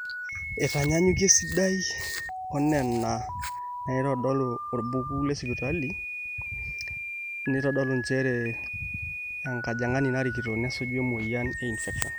eitanyanyuki esidai onena naaitodolu orbuku lesipitali naitodolu njere enkajang'ani narikito nesuju emueyian e infections